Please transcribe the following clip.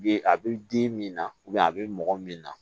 A bɛ den min na a bɛ mɔgɔ min na